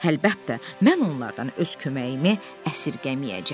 Həlbəttə, mən onlardan öz köməyimi əsirgəməyəcəm.